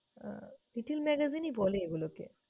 আহ little magazie ই বলে এগুলোকে।